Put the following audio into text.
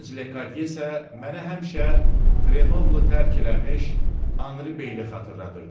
Gənc Ledye isə mənə həmişə Qrenoblu tərk eləmiş Anri Beyli xatırladırdı.